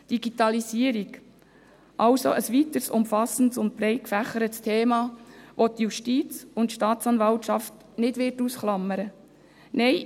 Die Digitalisierung ist ein weiteres umfassendes und breit gefächertes Thema, welches die Justiz und die Staatsanwaltschaft nicht ausklammern wird.